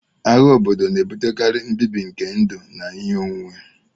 Agha obodo na-ebutekarị mbibi nke ndụ na ihe onwunwe